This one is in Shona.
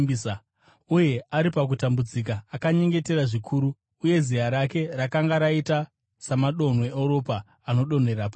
Uye ari pakutambudzika, akanyengetera zvikuru, uye ziya rake rakanga rakaita samadonhwe eropa anodonhera pasi.